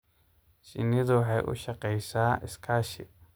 Shinnidu waxay u shaqeysaa iskaashi.